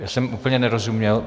Já jsem úplně nerozuměl.